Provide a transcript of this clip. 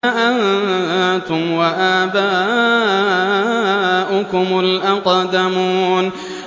أَنتُمْ وَآبَاؤُكُمُ الْأَقْدَمُونَ